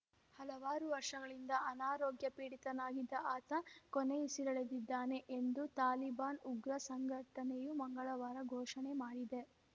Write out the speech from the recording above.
ಹಲವಾರು ವರ್ಷಗಳಿಂದ ಅನಾರೋಗ್ಯ ಪೀಡಿತನಾಗಿದ್ದ ಆತ ಕೊನೆಯುಸಿರೆಳೆದಿದ್ದಾನೆ ಎಂದು ತಾಲಿಬಾನ್‌ ಉಗ್ರ ಸಂಘಟನೆಯು ಮಂಗಳವಾರ ಘೋಷಣೆ ಮಾಡಿದೆ